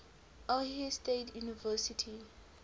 ohio state university